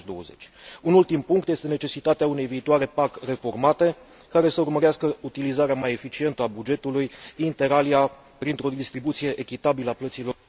2020. Un ultim punct este necesitatea unei viitoare PAC reformate care să urmărească utilizarea mai eficientă a bugetului, printre altele, printr o distribuție echitabilă a plăților.